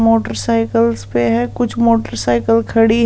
Motorcycles पे है कुछ मोटरसाइकिल खड़ी।